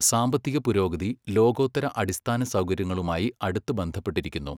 സാമ്പത്തിക പുരോഗതി ലോകോത്തര അടിസ്ഥാനസൗകര്യങ്ങളുമായി അടുത്ത് ബന്ധപ്പെട്ടിരിക്കുന്നു.